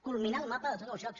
culminar el mapa de tots els llocs